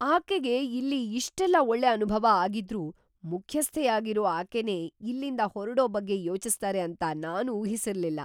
ಆಕೆಗೆ ಇಲ್ಲಿ ಇಷ್ಟೆಲ್ಲ ಒಳ್ಳೆ ಅನುಭವ ಆಗಿದ್ರೂ ಮುಖ್ಯಸ್ಥೆಯಾಗಿರೋ ಆಕೆನೇ ಇಲ್ಲಿಂದ ಹೊರಡೋ ಬಗ್ಗೆ ಯೋಚಿಸ್ತಾರೆ ಅಂತ ನಾನ್ ಊಹಿಸಿರ್ಲಿಲ್ಲ.